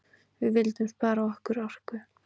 Við vildum spara okkar orku.